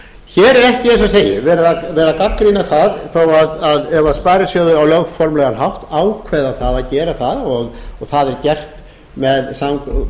hér er ekki eins og ég segi verið að gagnrýna ef sparisjóðir á lögformlegan hátt ákveða að gera það og það er gert